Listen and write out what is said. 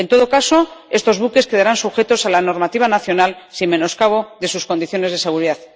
En todo caso, estos buques quedarán sujetos a la normativa nacional sin menoscabo de sus condiciones de seguridad.